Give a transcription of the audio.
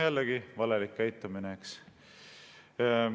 Jällegi valelik käitumine!